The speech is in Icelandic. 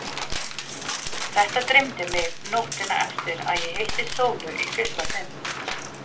Þetta dreymdi mig nóttina eftir að ég hitti Sólu í fyrsta sinn.